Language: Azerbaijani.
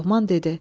Loğman dedi: